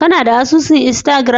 Kanada asusun instagram.